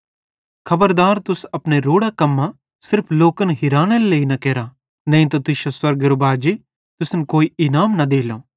खबरदार तुस अपने रोड़ां कम्मां सिर्फ लोकन हिरानेरे लेइ न केरा नईं त तुश्शो स्वर्गेरो बाजी तुसन कोई इनाम न देलो